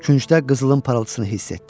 Küncdə qızılın parıltısını hiss etdi.